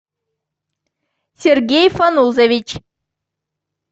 сергей фанузович